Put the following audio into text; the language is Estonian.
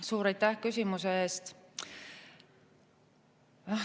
Suur aitäh küsimuse eest!